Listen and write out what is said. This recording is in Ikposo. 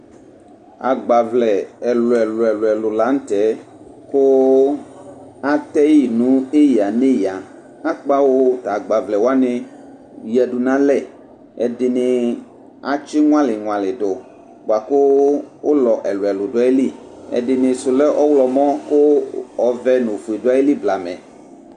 Agba vlɛ elʋ ɛlʋ ɛlʋ lanʋtɛ kʋ atɛyi nʋ eya nʋ eya kʋ akpawʋ agbavlɛ wani yadʋ nʋ alɛ ɛdini atsi ŋlali ŋlali dʋ bʋakʋ ʋlɔ ɛlʋ ɛlʋ dʋ ayili ɛdinisʋ lɛ ɔwlɔmɔ kʋ ɔvɛ nʋ ofue dʋ atili blamɛ